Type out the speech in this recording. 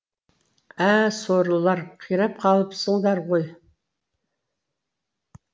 ә сорлылар қирап қалыпсыңдар ғой